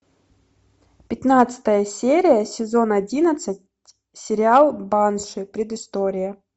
пятнадцатая серия сезон одиннадцать сериал банши предыстория